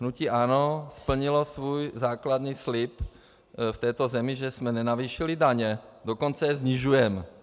Hnutí ANO splnilo svůj základní slib v této zemi, že jsme nenavýšili daně, dokonce je snižujeme.